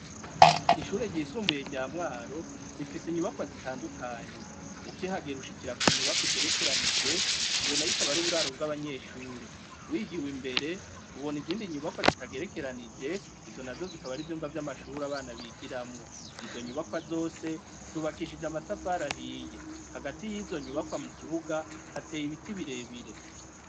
Ishure ryisumbuye rya mwaro rifise inyubakwa zitandukanye ukihagire ushikira ku nyubako igerekeranije iyo na yoikaba ari uburaro bw'abanyeshure wigiwe imbere ubona izindi nyubakwa zitagerekeranije izo na zo zikaba ari ivyumba vy'amashuri abana bigiramwo izo nyubakwa zose zubakishije amatafarahiye hagati yizo nyubakwa mu kibuga hateye ibiti birebire.